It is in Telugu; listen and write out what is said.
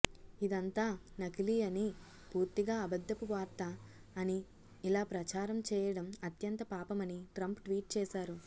ఇదంతా నకిలీ అని పూర్తిగా అబద్ధపు వార్త అని ఇలా ప్రచారం చేయడం అత్యంత పాపమని ట్రంప్ ట్వీట్ చేశారు